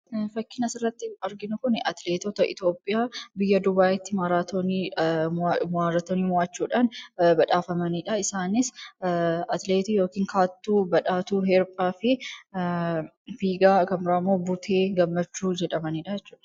Fakkiin asirratti arginu kun atileetota Ithiyoopiyaa biyyaa duba'itti maraatooni mo'atani mo'achuudhan badhafamanidha. isaanis atileetii yookiin kaattu, badhaatu erbaa fi figaa kan bira immo Bute Gammachuu jedhamanidha jechudha.